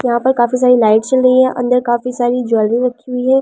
यहां पर काफी सारी लाइट चल रही है अंदर काफी सारी ज्वेलरी रखी हुई है ।